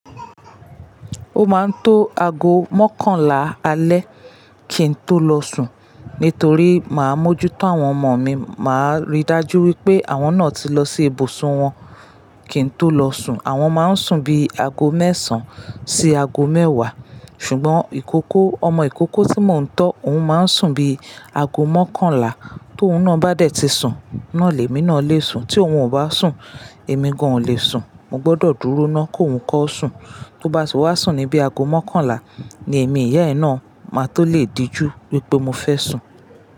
Ó máa ń tó aago mọ́kànlá alẹ́ kí n tó lọ sùn. Nítorí màá mójú tó àwọn ọmọ mi, màá rí i dájú wípé àwọn náà ti lọ sí ibùsùn wọn kí n tó lọ sùn. Àwọn máa ń sùn bí i aago mẹ́sàn-án sí aago mẹ́wàá. Ṣùgbọ́n ìkókó, ọmọ ìkókó tí mò ń tọ́ òun máa ń sùn bí i ago mọ́kànlá. Tóun náà bá dẹ̀ ti sùn, náà lèmi náà lè sùn. Tí òun ò bá sùn, èmi gan-an ò lè sùn. Mo gbọ́dọ̀ dúró ná k'óun kọ́ sùn. Tó bá ti wá sùn ní bí i aago mọ́kànlá ni èmi ìyá ẹ̀ náà máa tó lè dijú wípé mo fẹ́ sùn.